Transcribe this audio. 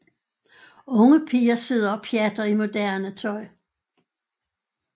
Unge piger sidder og pjatter i moderne tøj